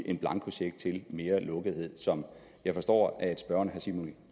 en blankocheck til mere lukkethed som jeg forstår at spørgeren herre simon